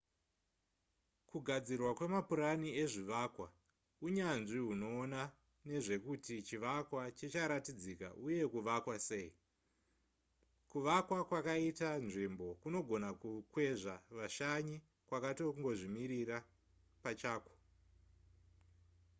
kugadzirwa kwemapurani ezvivakwa unyanzvi hunoona nezvekuti chivakwa chicharatidzika uye kuvakwa sei kuvakwa kwakaita nzvimbo kunogona kukwezva vashanyi kwakatongozvimirira pachakwo